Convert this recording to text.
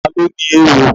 Ta ló ní éwo?